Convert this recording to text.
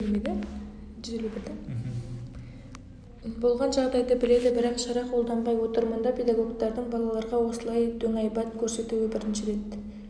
болған жағдайды біледі бірақ шара қолданбай отыр мұнда педагогтардың балаларға осылай дөңайбат көрсетуі бірінші рет